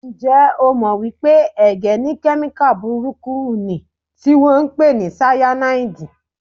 Ǹjẹ́ o jẹ́ mọ̀ wípé ẹ̀gẹ́ ní kemika burúkú niì tí wọn ń pè ní Sáyànáídì?